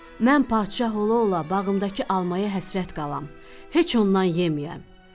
Mən padşah ola-ola bağımdakı almaya həsrət qalam, heç ondan yeməyəm.